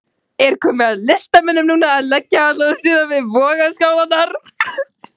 Er komið að listamönnunum núna að leggja sitt lóð á vogarskálarnar?